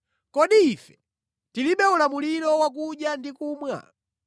Kodi ife tilibe ulamuliro wakudya ndi kumwa?